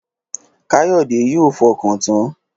Káyọ̀dé yóò fọkàntan